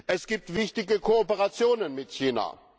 Es gibt wichtige Kooperationen mit China.